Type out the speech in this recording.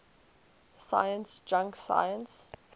science junk science